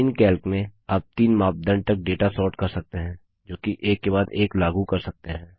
Calc में आप तीन मापदंड तक डेटा सोर्ट कर सकते हैं जोकि एक के बाद एक लागू कर सकते हैं